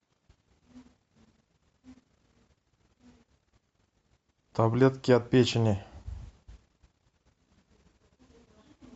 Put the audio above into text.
таблетки от печени